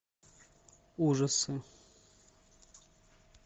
ужасы